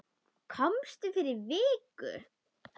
Komstu fyrir viku?